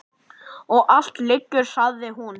Og allt lygar, sagði hún.